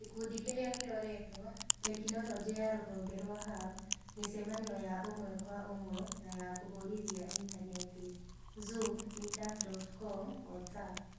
Gĩkundi kĩrĩa kĩroretwo: Tekinoronjĩ ya Rũhonge rwa Hub: Mĩcemanio ya ũmwe kwa ũmwe na ya kũhũthĩra intaneti (Zoom, Meetup.com, Whatsapp).